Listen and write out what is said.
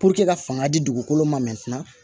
ka fanga di dugukolo ma mɛ